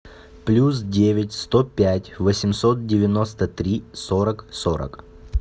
плюс девять сто пять восемьсот девяносто три сорок сорок